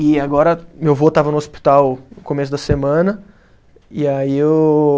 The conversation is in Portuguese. E agora, meu vô estava no hospital no começo da semana, e aí eu